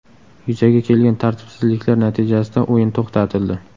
Yuzaga kelgan tartibsizliklar natijasida o‘yin to‘xtatildi.